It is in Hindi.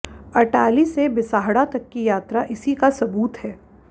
अटाली से बिसाहड़ा तक की यात्रा इसी का सबूत है